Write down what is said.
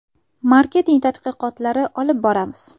Marketing tadqiqotlari olib boramiz.